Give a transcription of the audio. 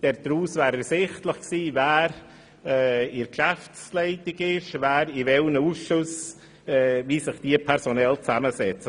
Daraus wäre ersichtlich gewesen, wer die Geschäftsleitung innehat und wie sich die Ausschüsse personell zusammensetzen.